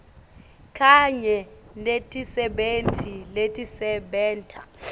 kanye netisebenti letisebenta